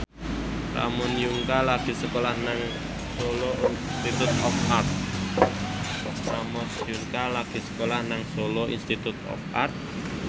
Ramon Yungka lagi sekolah nang Solo Institute of Art